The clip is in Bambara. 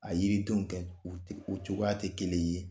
A yiridenw gɛ u te u cogoya te kelen ye.